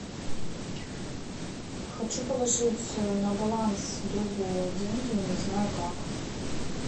хочу положить на баланс другу деньги не знаю как